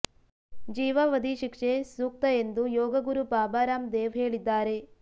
ಜೀವಾವಧಿ ಶಿಕ್ಷೆ ಸೂಕ್ತ ಎಂದು ಯೋಗ ಗುರು ಬಾಬಾ ರಾಮ್ ದೇವ್ ಹೇಳಿದ್ದಾರೆ